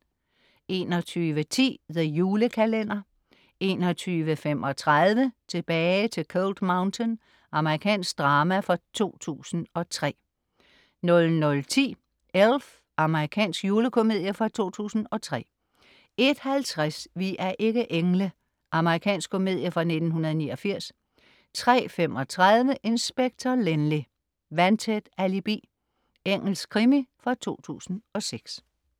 21.10 The Julekalender 21.35 Tilbage til Cold Mountain. Amerikansk drama fra 2003 00.10 Elf. Amerikansk julekomedie fra 2003 01.50 Vi er ikke engle. Amerikansk komedie fra 1989 03.35 Inspector Lynley - vandtæt alibi. Engelsk krimi fra 2006